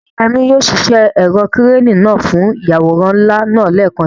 Ṣé Yemi yóò ṣiṣẹ́ ẹ̀rọ ìkẹ́rẹ́nì náà fún ìyàwòrán ńlá lẹ́ẹ̀kan si?